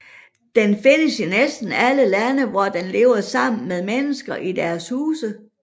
Den findes i næsten alle lande hvor den lever sammen med mennesker i deres huse